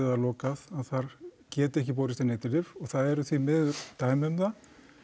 eða lokað að þar geti ekki borist inn eiturlyf og það eru því miður dæmi um það